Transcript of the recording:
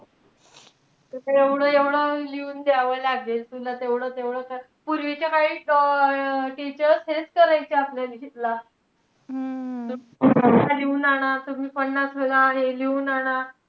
तिथे एवढं-एवढं लिहून द्यावं लागेल, तुला तेवढं-तेवढं. पूर्वीच्या काळी अं teacher हेच करायचे आपल्या ला लिहून आणा. तुम्ही पन्नास वेळा हे लिहून आणा.